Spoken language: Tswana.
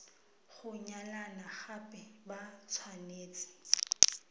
go nyalana gape ba tshwanetse